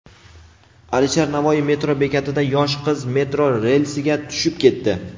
Alisher Navoiy metro bekatida yosh qiz metro relsiga tushib ketdi.